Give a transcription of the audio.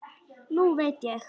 Nú veit ég.